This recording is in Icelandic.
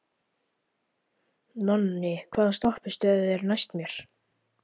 Nonni, hvaða stoppistöð er næst mér?